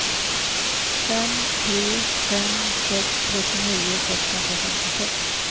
fem tre fem sex trettionio sexhundrafemtiosex